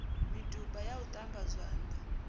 miduba ya u ṱamba zwanḓa